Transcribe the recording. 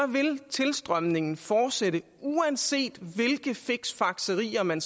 vil tilstrømningen fortsætte uanset hvilke fiksfakserier man